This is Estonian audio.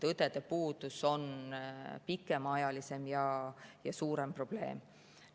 Õdede puudus on pikemaajaline ja suurem probleem.